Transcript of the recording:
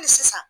Hali sisan